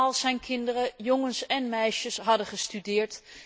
Al zijn kinderen, jongens en meisjes, hadden gestudeerd.